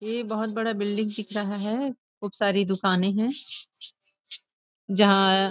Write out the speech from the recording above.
ये बहुत बड़ा बिल्डिंग दिख रहा है खूब सारी दुकानें हैं जहां --